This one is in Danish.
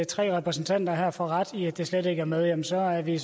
tre repræsentanter her får ret i at det slet ikke er med jamen så er vi